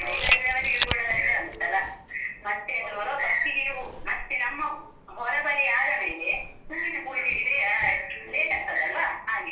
ಅವರಿಗೆ ಕೂಡ ಇದಾಗುತ್ತಲ್ಲ? ಮತ್ತೆ ಅದು first ಗೆ ಹೂ ಮತ್ತೆ ನಮ್ಮ ಹೊರಬಲಿ ಆದ ಮೇಲೆ ಹೂವಿನ ಪೂಜೆಗೆ ಲೆ~ late ಆಗ್ತದಲ್ವ? ಹಾಗೆ.